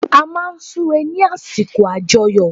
A máa n súre ní àsìkò àjoyọ̀